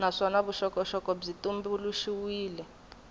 naswona vuxokoxoko byi tumbuluxiwile hi